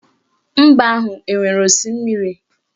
Mba ahụ enwere osimiri?